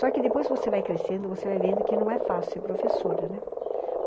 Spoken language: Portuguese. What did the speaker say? Só que depois você vai crescendo, você vai vendo que não é fácil ser professora, né?